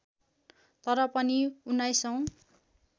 तर पनि उन्नाइसौँ